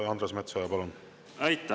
Andres Metsoja, palun!